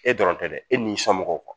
E dɔrɔn tɛ dɛ e n'i somɔgɔw